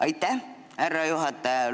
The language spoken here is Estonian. Aitäh, härra juhataja!